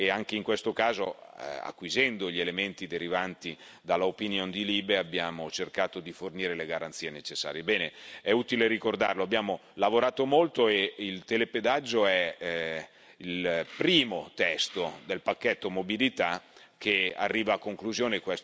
Anche in questo caso, acquisendo gli elementi derivanti dal parere della commissione LIBE, abbiamo cercato di fornire le garanzie necessarie. Bene, è utile ricordarlo abbiamo lavorato molto e il telepedaggio è il primo testo del pacchetto mobilità che arriva a conclusione.